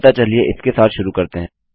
अतः चलिए हम इसके साथ शुरूआत करते हैं